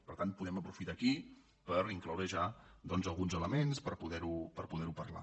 per tant podem aprofitar aquí per in·cloure ja doncs alguns elements per poder·ho parlar